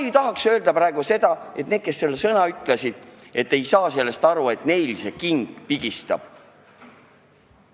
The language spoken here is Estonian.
Ma ei tahaks praegu öelda, et neil, kes kurdavad, et ei saa sellest aru, king sellest kohast pigistab.